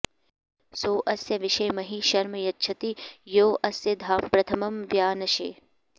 सो अस्य विशे महि शर्म यच्छति यो अस्य धाम प्रथमं व्यानशे